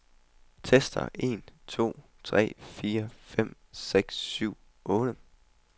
Tester en to tre fire fem seks syv otte.